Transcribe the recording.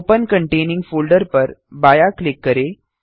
open containing folder पर बायाँ click करें